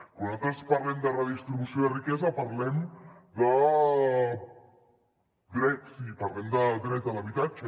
quan nosaltres parlem de redistribució de riquesa parlem de drets i parlem de dret a l’habitatge